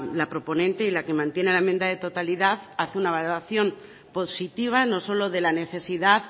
la proponente y la que mantiene la enmienda de totalidad hace una valoración positiva no solo de la necesidad